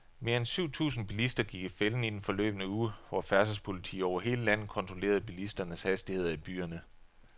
Mere end syv tusind bilister gik i fælden i den forløbne uge, hvor færdselspoliti over hele landet kontrollerede bilisternes hastigheder i byerne.